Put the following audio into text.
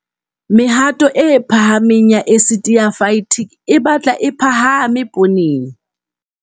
Mehato e phahameng ya esiti ya Phytic e batla e phahame pooneng.